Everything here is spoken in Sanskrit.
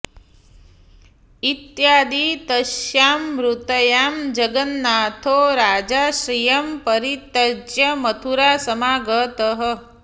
इत्यादि तस्यां मृतायां जगन्नाथो राजाश्रयं परित्यज्य मथुरा समागतः